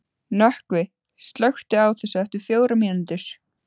Nökkvi, slökktu á þessu eftir fjórar mínútur.